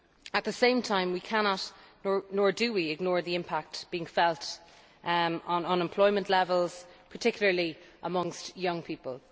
At the same time we cannot nor do we ignore the impact being felt on unemployment levels, particularly amongst young people.